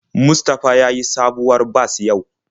Mustafa ya sayi sabuwar bas yau.